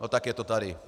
No tak je to tady.